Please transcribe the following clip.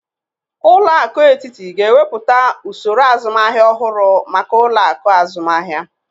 Ụlọaku etiti ga-ewepụta osoro azụmahia ọhụrụ maka ụlọaku azụmahia.